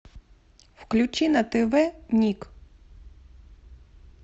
включи на тв ник